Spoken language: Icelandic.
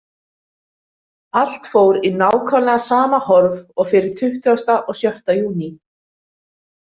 Allt fór í nákvæmlega sama horf og fyrir tuttugasti og sjötti júní.